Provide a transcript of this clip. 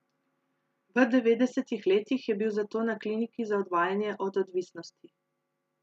V devetdesetih letih je bil zato na kliniki za odvajanje od odvisnosti.